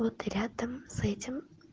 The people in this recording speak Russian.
вот рядом с этим